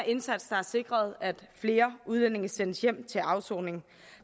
indsats der har sikret at flere udlændinge sendes hjem til afsoning